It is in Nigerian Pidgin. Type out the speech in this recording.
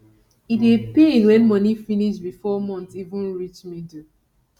e dey pain when money finish bifor month even reach middle